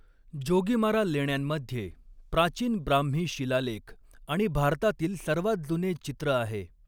जोगीमारा लेण्यांमध्ये प्राचीन ब्राह्मी शिलालेख आणि भारतातील सर्वात जुने चित्र आहे.